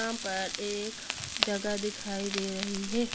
यहाँ पर एक जगह दिखाई दे रही है।